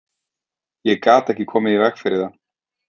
Ég gat ekki komið í veg fyrir það.